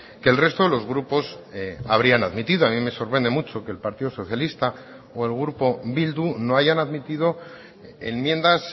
que el resto de los grupos habrían admitido a mí me sorprende mucho que el partido socialista o el grupo bildu no hayan admitido enmiendas